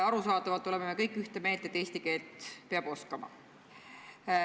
Arusaadavalt oleme me kõik ühte meelt, et eesti keelt peab oskama.